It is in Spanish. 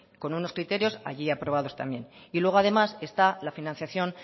con unos criterios ahí aprobados también y luego además está la financiación